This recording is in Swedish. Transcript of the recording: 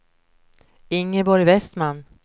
Ingeborg Westman